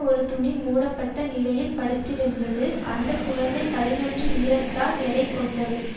ஒரு துணி மூடப்பட்ட நிலையில் படுத்திருந்தது அந்த குழந்தை பதினொன்று இறத்தால் எடை கொண்டது